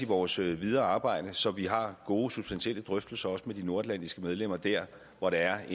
vores videre arbejde så vi har gode substantielle drøftelser også med de nordatlantiske medlemmer der hvor der er